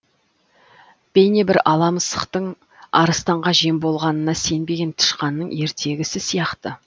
бейнебір ала мысықтың арыстанға жем болғанына сенбеген тышқанның ертегісі сияқты